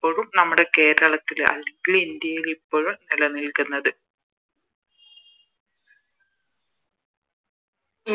പ്പോഴും നമ്മുടെ കേരളത്തില് അല്ലെങ്കില് ഇന്ത്യയില് ഇപ്പോഴും നിലനിൽക്കുന്നത്